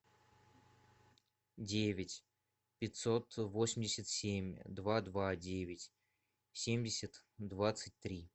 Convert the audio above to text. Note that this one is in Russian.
девять пятьсот восемьдесят семь два два девять семьдесят двадцать три